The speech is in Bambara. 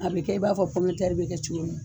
A bɛ kɛ i b'a fɔ bɛ kɛ cogo min.